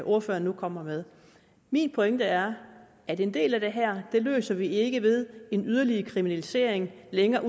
ordføreren nu kommer med min pointe er at en del af det her løser vi ikke ved en yderligere kriminalisering længere